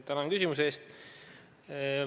Tänan küsimuse eest!